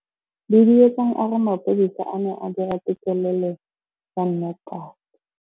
Duduetsang a re mapodisa a ne a dira têkêlêlô ya nnotagi.